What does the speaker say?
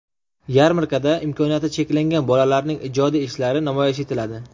Yarmarkada imkoniyati cheklangan bolalarning ijodiy ishlari namoyish etiladi.